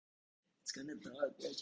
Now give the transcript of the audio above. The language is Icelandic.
Voru mistök í einkavæðingunni?